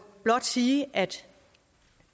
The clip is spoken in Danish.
blot sige at